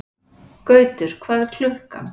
Gautur, hvað er klukkan?